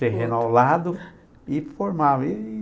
Terreno ao lado e formava. E...